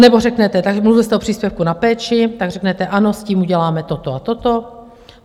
Anebo řeknete - tak mluvil jste o příspěvku na péči, tak řeknete ano, s tím uděláme toto a toto.